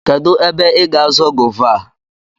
Kedụ ébé ị gá àzọ́ gova a?